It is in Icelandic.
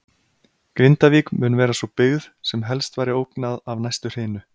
Grindavík mun vera sú byggð, sem helst væri ógnað af næstu hrinu.